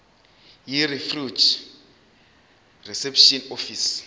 yirefugee reception office